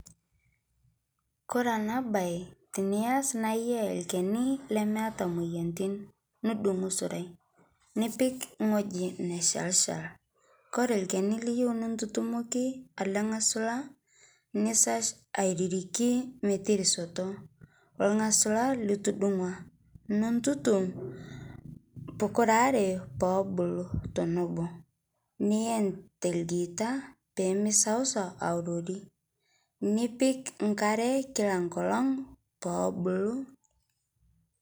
Kore ana bai tiniyas naa iyaa lkeni lemeata moyantin nidung'u surai nipik ngoji neshelshal kore lkeni liyeu nintutumoki alee ng'asula nisash airirikii metirisotoo olgasula litudung'ua nintutum pukuraree poobulu tonoboo niyen telgiita pemeisausau aurorii nipik nkare kila nkolong' peebulu.